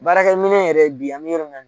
Baarakɛ minɛn yɛrɛ bi an bɛ yɔrɔ min na